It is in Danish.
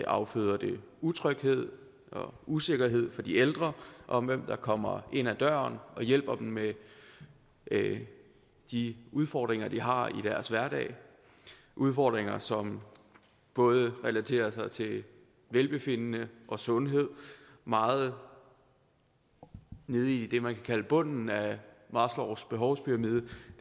afføder det utryghed og usikkerhed for de ældre om hvem der kommer ind ad døren og hjælper dem med de udfordringer de har i deres hverdag udfordringer som både relaterer sig til velbefindende og sundhed meget nede i det man kan kalde bunden af maslows behovspyramide